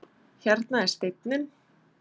Hérna er steinninn.